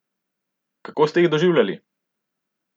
Kako ste jih doživljali?